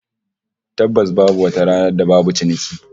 Tabbas babu wata ranar da babu ciniki